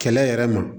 Kɛlɛ yɛrɛ ma